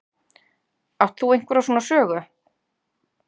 Átt þú einhverjar svona sögu?